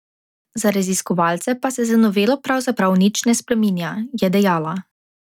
Za raziskovalce pa se z novelo pravzaprav nič ne spreminja, je dejala.